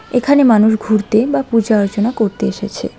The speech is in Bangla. এখানে মানুষ ঘুরতে বা পূজা আর্চনা করতে এসেছে।